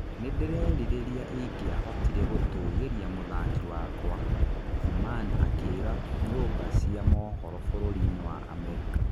" Nĩ ndĩrerirĩria ingĩahotire gũtũgĩria mũthaki wakwa", Thuman akĩĩra nyũmba cia mohoro bũrũri-inĩ wa Amerika.